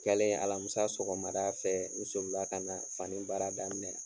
Kɛlen Alamisa sɔgɔmada n solila ka na fani baara daminɛ.